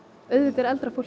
auðvitað er eldra fólk